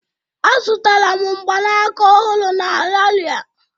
Azutara m mgbanaka ọhụrụ n'Ariaria.